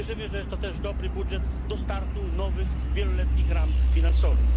Wierzymy, że jest to też dobry budżet do startu nowych wieloletnich ram finansowych.